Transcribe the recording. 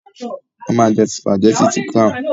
A má jẹ́ sùpàgétì ti "Crown"